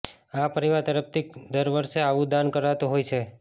અા પરિવાર તરફથી દર વર્ષે અાવું દાન કરાતું હોય છે